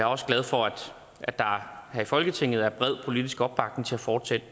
også glad for at der her i folketinget er bred politisk opbakning til at fortsætte